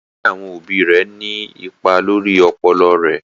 Ìkọsilẹ̀ àwọn obì rè ní ìpà lórí ọpọlọ rè.